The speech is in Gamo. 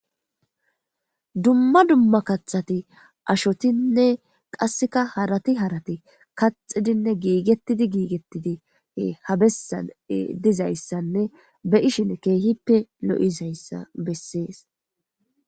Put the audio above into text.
dumma dumma kathati ashotinne qasseka harati harati kaxidinne giigettidi giigettidi ha bessan dizayssanne be'ishin keehippe lo'izayssa bessees